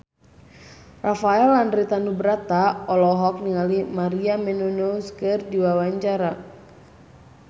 Rafael Landry Tanubrata olohok ningali Maria Menounos keur diwawancara